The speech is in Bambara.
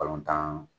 Balontan